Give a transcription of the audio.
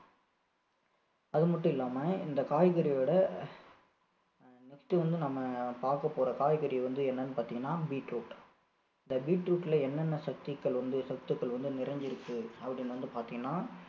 அது மட்டும் இல்லாம இந்த காய்கறியோட next வந்து நம்ம பாக்க போற காய்கறி வந்து என்னன்னு பார்த்தீங்கன்னா beetroot இந்த beetroot ல என்னென்ன சத்துக்கள் வந்து சத்துக்கள் வந்து நிறைஞ்சிருக்கு அப்படின்னு வந்து பாத்தீங்கன்னா